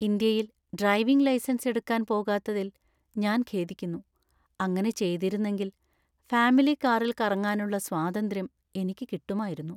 ഇന്ത്യയിൽ driving licence എടുക്കാൻ പോകാത്തതിൽ ഞാൻ ഖേദിക്കുന്നു. അങ്ങനെ ചെയ്തിരുന്നെങ്കിൽ ഫാമിലി കാറിൽ കറങ്ങാനുള്ള സ്വാതന്ത്ര്യം എനിക്ക് കിട്ടുമായിരുന്നു.